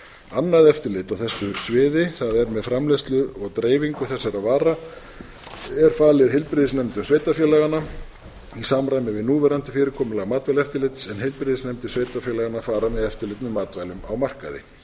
annað eftirlit á þessu sviði það er með framleiðslu og dreifingu þessara vara er falið heilbrigðisnefndum sveitarfélaganna í samræmi við núverandi fyrirkomulag matvælaeftirlits en heilbrigðisnefndir sveitarfélaganna fara með eftirlit með matvælum á markaði